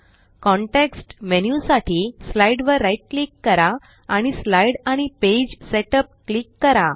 context menu साठी slide वर right click करा आणि स्लाईड आणि पेज सेटअप क्लिक करा